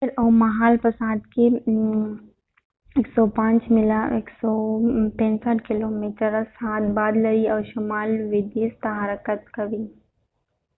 فریډ اوس مهال په ساعت کې 105 میله 165 کیلومتره/ساعت باد لري او شمال لوېدیځ ته حرکت کوي